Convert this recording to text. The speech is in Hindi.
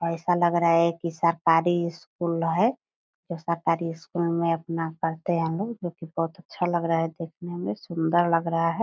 ऐसा लग रहा है की सरकारी स्कूल है जो सरकारी स्कूल में अपना पढ़ते हैं लोग जो की बहुत अच्छा लग रहा है देखने में सुंदर लग रहा है।